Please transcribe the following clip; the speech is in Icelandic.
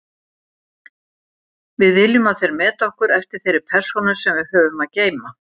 Við viljum að þeir meti okkur eftir þeirri persónu sem við höfum að geyma.